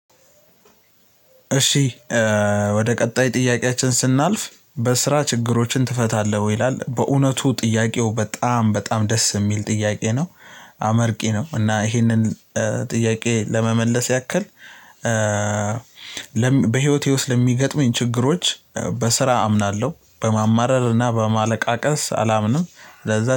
እሺ ወደ ቀጣይ ጥያቄያችን ስናልፍ በስራ ችግሮችን ትፈታለህ ይላል? በእውነቱ ጥያቄው በጣም በጣም ደስ የሚል ጥያቄ ነው አመርቂ ነው። እና ይሄንን ጥያቄ ለመመለስ ያክል። በህይወቴ ውስጥ ለሚገጥመኝ ችግሮች በስራ አምናለሁ በማማረርና በማለቃቀስ አላምንም። ለዛ